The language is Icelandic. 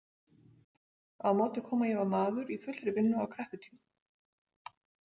Á móti kom að ég var maður í fullri vinnu á krepputímum.